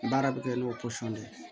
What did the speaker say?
Baara bɛ kɛ n'o pɔsɔn de ye